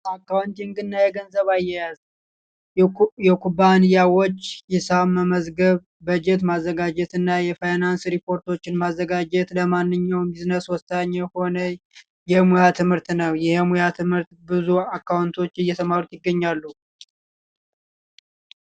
የአካውንቲንግ እና የገንዘብ አያያዝ የኩባንያዎች ሂሳብ መመዝገብ በጀት ማዘጋጀትና የፋይናንስ ሪፖርቶችን ማዘጋጀት ለማንኛውም ቢዝነስ የሆነ የሙያ ትምህርት ነው የሙያ ትምህርት ብዙ አካውንቶች እየተማሩት ይገኛሉ